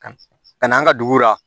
Ka na an ka dugu la